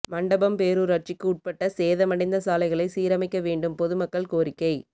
மண்டபம் பேரூராட்சிக்கு உட்பட்ட சேதமடைந்த சாலைகளை சீரமைக்க வேண்டும் பொதுமக்கள் கோரிக்கை